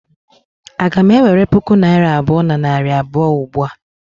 Aga m ewere puku naira abụọ na narị abụọ ugbua?